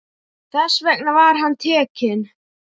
Þess vegna var hann tekinn.